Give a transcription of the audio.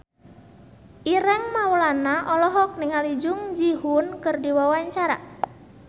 Ireng Maulana olohok ningali Jung Ji Hoon keur diwawancara